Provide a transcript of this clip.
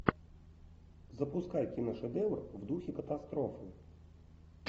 запускай киношедевр в духе катастрофы